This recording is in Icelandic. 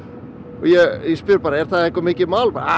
ég spurði bara er það eitthvað mikið mál